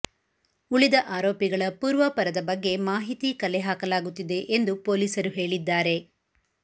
ಉಳಿದ ಆರೋಪಿಗಳ ಪೂರ್ವಾಪರದ ಬಗ್ಗೆ ಮಾಹಿತಿ ಕಲೆ ಹಾಕಲಾಗುತ್ತಿದೆ ಎಂದು ಪೊಲೀಸರು ಹೇಳಿದ್ದಾರೆ